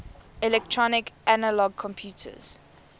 electronic analog computers